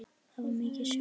Það var mikið sjokk.